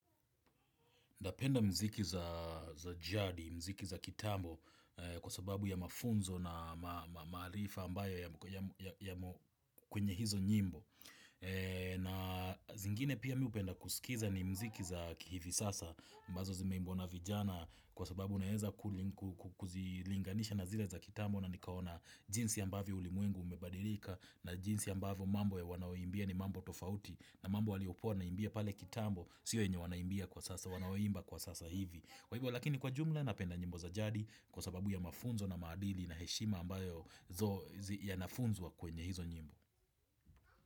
Napenda muziki za jadi, muziki za kitambo kwa sababu ya mafunzo na maarifa ambayo yamo kwenye hizo nyimbo. Na zingine pia mi hupenda kusikiza ni muziki za kihivi sasa mbazo zimeimbwa na vijana kwa sababu naweza kuzilinganisha na zile za kitambo na nikaona jinsi ambavyo ulimwengu umebadilika na jinsi ambavyo mambo ya wanaoimbia ni mambo tofauti. Na mambo waliokuwa wanaimbia pale kitambo, sio yenye wanaimbia kwa sasa, wanaoimba kwa sasa hivi Kwa hivyo lakini kwa jumla napenda nyimbo za jadi kwa sababu ya mafunzo na maadili na heshima ambayo yanafunzwa kwenye hizo nyimbo.